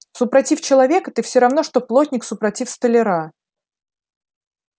супротив человека ты все равно что плотник супротив столяра